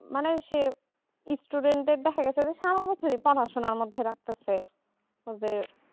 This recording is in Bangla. মানে সেই studente দেখা গেছে যে সারা বছর পড়াশোনার মাধ্যমে লাগতেছে ওই যে